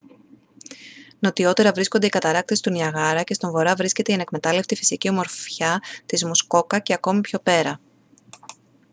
νοτιότερα βρίσκονται οι καταρράκτες του νιαγάρα και στον βορρά βρίσκεται η ανεκμετάλλευτη φυσική ομορφιά της μουσκόκα και ακόμη πιο πέρα